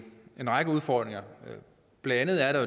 række udfordringer blandt andet er der